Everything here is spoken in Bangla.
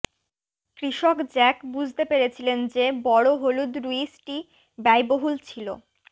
কৃষক জ্যাক বুঝতে পেরেছিলেন যে বড় হলুদ রুইসটি ব্যয়বহুল ছিল